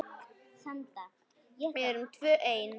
Við erum tvö ein.